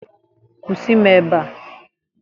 Kwụsị m ebe a!